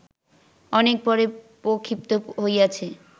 অনেক পরে প্রক্ষিপ্ত হইয়াছে